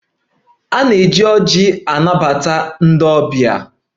A na-eji anabata ndị ọbịa agbamakwụkwọ